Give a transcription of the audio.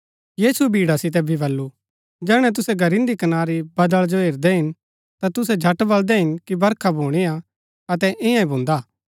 यीशुऐ भीड़ा सितै भी बल्लू जैहणै तुसै घरिन्‍दी कनारी बदळा जो हेरदै हिन ता तुसै झट बलदै हिन कि बरखा भुणीआ अतै ईयां ही भुन्दा